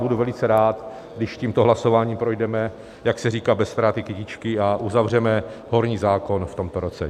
Budu velice rád, když tímto hlasováním projdeme, jak se říká, bez ztráty kytičky a uzavřeme horní zákon v tomto roce.